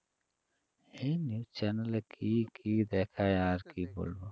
হে news channel এ কী কী দেখায় আর কী বলব?